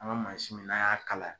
An ka mansin min n'an y'a kala